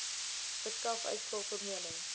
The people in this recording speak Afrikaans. verskaf uitslae formele